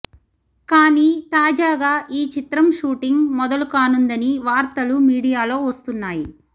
కానీ తాజాగా ఈ చిత్రం షూటింగ్ మొదలు కానుందని వార్తలు మీడియాలో వస్తున్నాయి